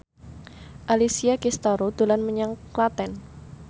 Alessia Cestaro dolan menyang Klaten